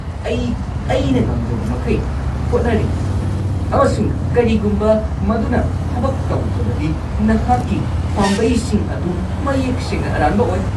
ꯑꯩ ꯑꯩꯅ ꯉꯝꯖꯕꯃꯈꯩ ꯍꯣꯠꯅꯔꯤ, ꯑꯃꯁꯨꯡ ꯀꯔꯤꯒꯨꯝꯕ ꯃꯗꯨꯅ ꯊꯕꯛ ꯇꯧꯗ꯭ꯔꯕꯗꯤ ꯅꯍꯥꯛꯀꯤ ꯄꯥꯝꯕꯩꯁꯤꯡ ꯑꯗꯨ ꯃꯌꯦꯛ ꯁꯦꯡꯅ ꯑꯔꯥꯟꯕ ꯑꯣꯏ꯫